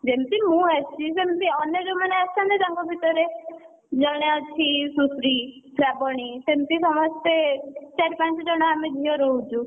ଯେମିତି ମୁଁ ଆସିଛି ସେମିତି ଅନ୍ୟ ଯୋଉମାନ ଆସିଛନ୍ତି ତାଙ୍କ ଭିତରେ, ଜଣେ ଅଛି ସୁଶ୍ରୀ, ଶ୍ରାବଣୀ ସେମିତି ସମସ୍ତେ ଚାରି ପାଞ୍ଚ ଜଣ ଝିଅ ଆମେ ରହୁଛୁ।